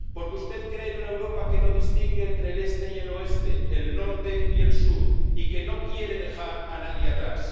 Porque usted cree en una Europa que no distingue entre el Este y el Oeste, el Norte y el Sur, y que no quiere dejar a nadie atrás.